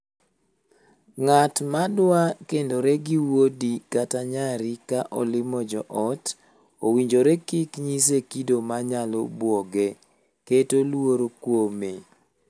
Ng'at ma dwa kendore gi wuodi kata nyari ka olimo joot, owinjore kik nyise kido ma nyalo buoge (keto luoro kume).